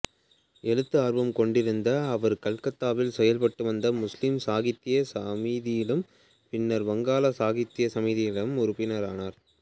எழுத்து ஆர்வம் கொண்டிருந்த அவர் கல்கத்தாவில் செயல்பட்டு வந்த முஸ்லிம் சாகித்ய சமிதியிலும் பின்னர் வங்காள சாகித்ய சமிதியிலும் உறுப்பினரானார்